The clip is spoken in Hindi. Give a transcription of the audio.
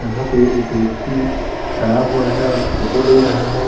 यहाँ पे एक व्यक्ति खड़ा हुआ है और फोटो ले रहा है।